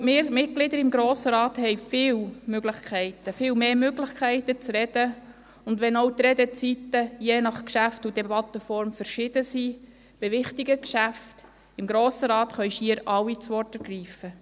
Ich glaube, wir Mitglieder des Grossen Rates haben viele Möglichkeiten, viel mehr Möglichkeiten zu reden, wenn auch die Redezeiten je nach Geschäft und Debattenform unterschiedlich sind: Bei wichtigen Geschäften im Grossen Rat können schier alle das Wort ergreifen.